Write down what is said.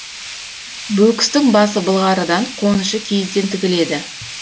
бөкістің басы былғарыдан қонышы киізден тігіледі